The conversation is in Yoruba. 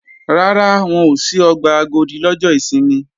Rárá, wọn ò ṣí ọgbà Agodi lọ́jọ́ ìsinmi